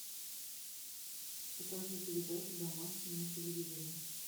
покажи передачу домашний на телевизоре